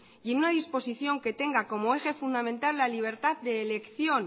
y en una disposición que tenga como derecho fundamental la libertad de elección